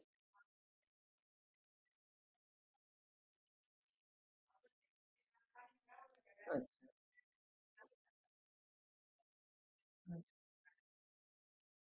ते फाटूही शकत म्हणून Not necessary कि हे पण फाटली आहे. म्हणजे door पण तुटलंय, तुमच त्या फाटलेल्या हेच्या मुळ अस तुम्ही conclusion नाही ना करू शकत sir